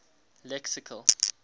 lexical